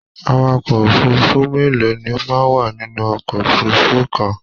Àwàkọ̀ òfurùnfu mélòó ni o wà nínú ọkọ òfurùnfu kàn?